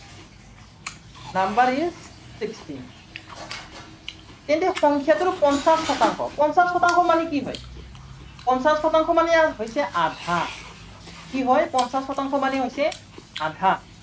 number is sixteen তেন্তে সংখ্য়াটোৰ পঞ্চাশ শতাংশ। পঞ্চাশ শতাংশ মানে কি হয়, পঞ্চাশ শতাংশ মানে হৈছে আধা। কি হয়, পঞ্চাশ শতাংশ মানে হৈছে আধা।